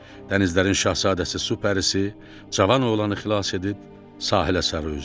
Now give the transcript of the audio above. Dənizlərin şahzadəsi su pərisi cavan oğlanı xilas edib sahilə sarı üzdü.